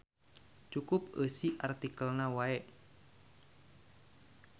Cukup eusi artikelna wae.